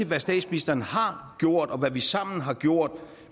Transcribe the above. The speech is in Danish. hvad statsministeren har gjort og hvad vi sammen har gjort